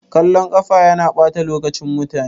Kallon ƙafa yana ɓata lokacin mutane.